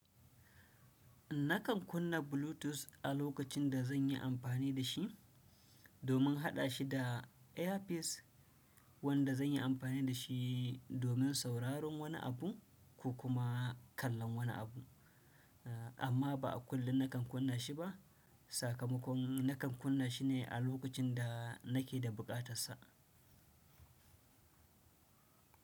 Nakan kunna Bluetooth a lokacin da zan yi amfani da shi domin haɗa shi da earpiece wanda zan yi amfani da shi domin sauraron wani abu ko kuma kallon wani abu, amma ba a kullum nakan kunna shi ba. Sakamakon nakan kunna shi ne a lokacin da nake da buƙatar sa.